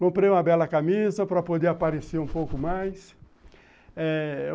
Comprei uma bela camisa para poder aparecer um pouco mais.